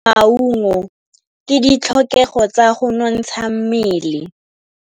Go ja maungo ke ditlhokegô tsa go nontsha mmele.